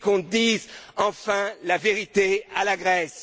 suite. Qu'on dise enfin la vérité à la